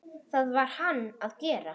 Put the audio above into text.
Það varð hann að gera.